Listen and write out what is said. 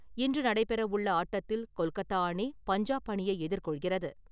இன்று நடைபெறவுள்ள ஆட்டத்தில் கொல்கத்தா அணி, பஞ்சாப் அணியை எதிர்கொள்கிறது.